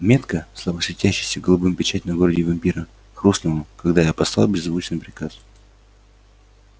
метка слабо светящаяся голубым печать на груди вампира хрустнула когда я послал беззвучный приказ